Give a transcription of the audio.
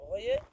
Ağayev?